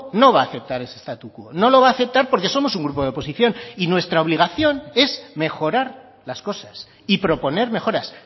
no va a aceptar ese statu quo no lo va a aceptar porque somos un grupo de oposición y nuestra obligación es mejorar las cosas y proponer mejoras